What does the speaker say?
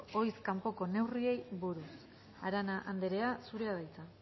ohiz kanpoko neurriei buruz arana andrea zurea da hitza